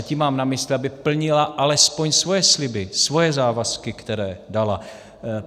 A tím mám na mysli, aby plnila alespoň svoje sliby, svoje závazky, které dala.